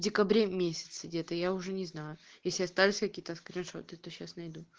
в декабре месяце где-то я уже не знаю если остались какие-то скриншоты то сейчас найду